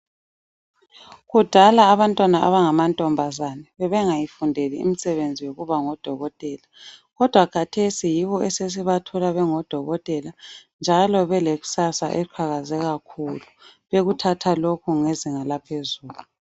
Kudala abantwana abangamantombazane bebengayifundeli imisebenzi yokuba ngodokotela kodwa khathesi yibo esesibathola bengodokotela njalo belekusasa eliqhakaze kakhulu bekuthatha lokhu ngezinga laphezulu.